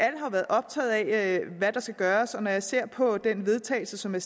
været optaget af hvad der skal gøres og når jeg ser på den vedtagelse som er